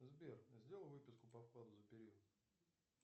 сбер сделай выписку по вкладу за период